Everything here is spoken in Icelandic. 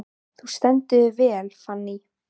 Þú stendur þig vel, Fanný!